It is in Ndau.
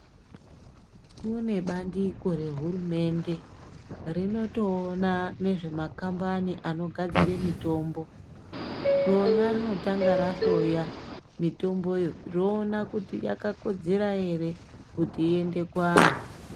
Kune bandiko rehurumende rinotoona nezve vanogadzira mitombo. Rona runotanga rahloya mitomboyo roona kuti yakakodzera here kuti iende kuvantu.